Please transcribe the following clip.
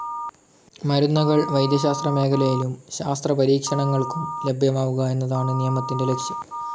മരുന്നുകൾ വൈദ്യശാസ്ത്രമേഖലയിലും ശാസ്ത്രപരീക്ഷണങ്ങൾക്കും ലഭ്യമാവുക എന്നതാണ് നിയമത്തിന്റെ ലക്ഷ്യം.